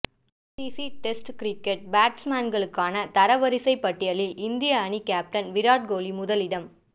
ICC test cricket பேட்ஸ்மேன்களுக்கான தரவரிசை பட்டியலில் இந்திய அணி கேப்டன் விராட் கோலி முதலிடம்